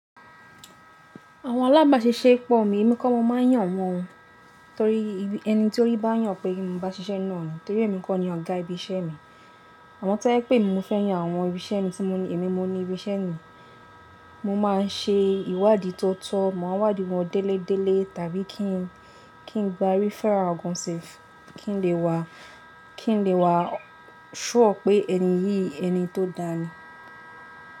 Àwọn alábàṣiṣẹ́ pọ̀ mi, èmi kọ́ mo máa yàn wọ́n torí ẹni tí ó rí bá yàn pé mi bá ṣiṣẹ́ náà ni, torí èmi kó ni ọ̀gá ibi iṣẹ́ mi. Àmọ́ tó jẹ́ pé èmi, mo fẹ́ yan àwọn ibi iṣẹ́ mi tí èmi mo ní ibi iṣẹ́ mi. Mo máa n ṣe ìwádìí tó tọ́, mo máa n wádìí wọn délé délé tàbí kí n gba referral gan sef kí n lè wà sure pé ẹni yìí ẹni tó dáa ni.